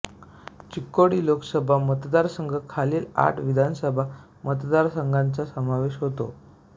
चिक्कोडी लोकसभा मतदारसंघात खालील आठ विधानसभा मतदारसंघांचा समावेश होतो